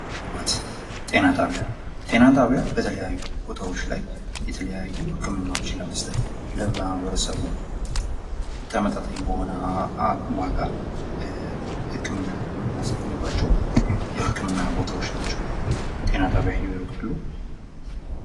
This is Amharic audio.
ልማት ጤና ጣቢያ ጤና ጣቢያ በተለያዩ ቦታዎች ላይ የተለያዩ ህክምናዎችን ለመስጠት ለማህበረሰቡ ተመጣጣኝ በሆነ ዋጋ ህክምና የምናስገኝባቸው የህክምና ቦታዎች ናቸው። ጤና ጣቢያ ሂደው ያውቃሉ?